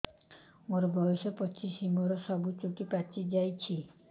ମୋର ବୟସ ପଚିଶି ମୋର ସବୁ ଚୁଟି ପାଚି ଯାଇଛି